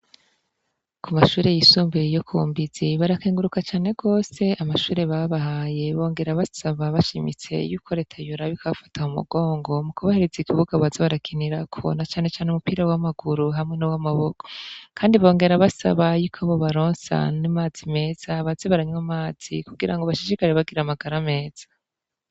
Ku mashure yisumbeye iyo ku mbizi barakenguruka cane rwose, amashure babahaye bongera basaba bashimitse yuko reta yuraboik afata mu mugongo mu kubahereza igibuga baza barakinira kubona canecane umupira w'amaguru hamwe n' w'amaboko, kandi bongera basaba yuko bo balonsa n'imazi meza bazi baranywa amazi kugira ngo bashishikare bagira amagara ameza.